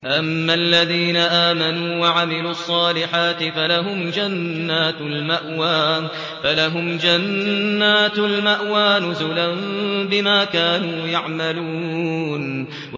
أَمَّا الَّذِينَ آمَنُوا وَعَمِلُوا الصَّالِحَاتِ فَلَهُمْ جَنَّاتُ الْمَأْوَىٰ نُزُلًا بِمَا كَانُوا يَعْمَلُونَ